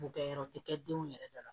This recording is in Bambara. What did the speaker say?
Bokɛyɔrɔ te kɛ denw yɛrɛ da la